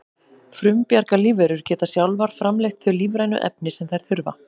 frumbjarga lífverur geta sjálfar framleitt þau lífrænu efni sem þær þurfa